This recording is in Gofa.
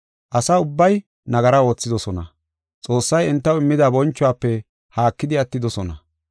Asa ubbay nagara oothidosona; Xoossay entaw immida bonchuwafe haakidi attidosona.